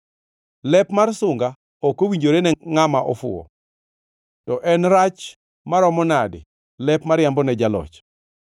Lep mar sunga ok owinjore ne ngʼama ofuwo, to en rach maromo nadi lep mariambo ne jaloch!